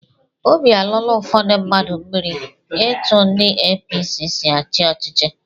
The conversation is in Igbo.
Óbị alọọla ụfọdụ mmadụ mmiri etụ ndị APC sị achị ọchịchị.